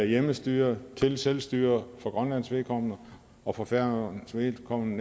hjemmestyre til selvstyre for grønlands vedkommende og for færøernes vedkommende